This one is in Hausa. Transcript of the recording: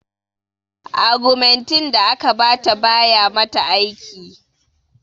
Agumentin da aka ba ta ba ya mata aiki